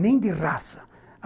Nem de raça.